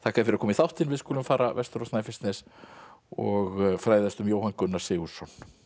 fyrir að koma í þáttinn við skulum fara vestur á Snæfellsnes og fræðast um Jóhann Gunnar Sigurðsson